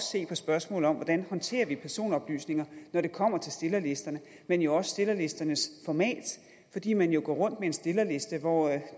se på spørgsmålet om hvordan vi håndterer personoplysninger når det kommer til stillerlisterne men jo også stillerlisternes format fordi man jo går rundt med en stillerliste hvor